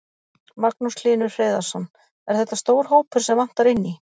Magnús Hlynur Hreiðarsson: Er þetta stór hópur sem vantar inn í?